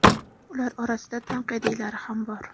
ular orasida tanqidiylari ham bor.